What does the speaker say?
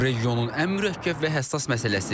Regionun ən mürəkkəb və həssas məsələsi.